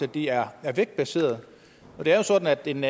de er vægtbaserede for det jo sådan at en